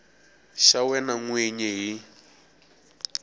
xa wena n wini hi